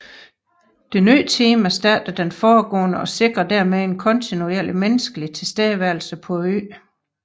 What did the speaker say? Det nye team erstatter det foregående og sikrer dermed en kontinuerlig menneskelig tilstedeværelse på øen